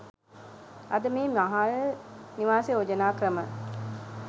අද මේ මහල් නිවාස යෝජනා ක්‍රම